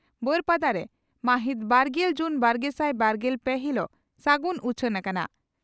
ᱵᱟᱹᱨᱯᱟᱰᱟ ᱨᱮ (ᱢᱟᱹᱦᱤᱛ ᱵᱟᱨᱜᱮᱞ ᱡᱩᱱ ᱵᱟᱨᱜᱮᱥᱟᱭ ᱵᱟᱨᱜᱮᱞ ᱯᱮ ) ᱦᱤᱞᱚᱜ ᱥᱟᱜᱩᱱ ᱩᱪᱷᱟᱹᱱ ᱟᱠᱟᱱᱟ ᱾